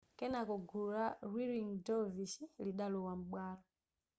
kenako gulu la whirling dervish lidalowa m'bwalo